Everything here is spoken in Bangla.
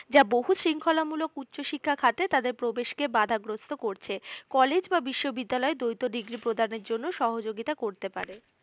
যা বহু শৃঙ্খলা মূলক উচ্চশিক্ষা খাতে তাদের প্রবেশকে বাধাগ্রস্ত করছে কলেজ বা বিশ্ববিদ্যালয় দৈত degree প্রদানের জন্য সহযোগিতা করতে পারে